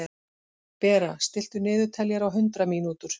Bera, stilltu niðurteljara á hundrað mínútur.